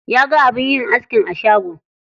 Ya ga abin yin askin a shagon.